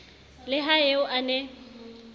le ha eo a ne